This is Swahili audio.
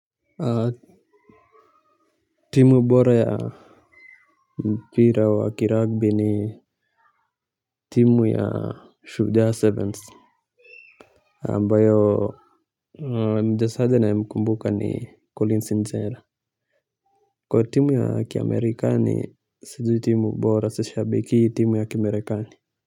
Timu bora yaa mpira wa kirugby ni timu yaa Shujaa Sevens ambayo mchezaji naye mkumbuka ni Collins Injera. Kwa ya timu ya kimerikani sijui timu bora so sishabiki timu ya kimerikani.